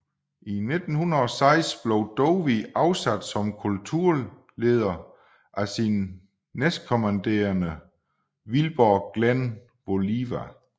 I 1906 blev Dowie afsat som kultleder af sin næstkommanderende Wilbur Glenn Voliva